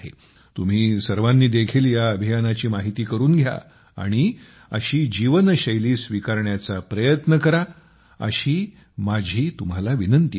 तुम्ही सर्वांनी देखील या अभियानाची माहिती करून घ्या आणि अशी जीवन शैली स्वीकारण्याचा प्रयत्न करा असा माझा तुम्हाला आग्रह आहे